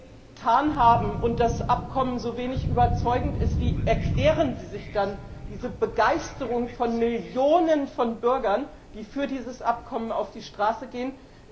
Wenn das Abkommen so wenig überzeugend ist, wie erklären Sie sich dann diese Begeisterung von Millionen von Bürgern, die für dieses Abkommen auf die Straße gehen?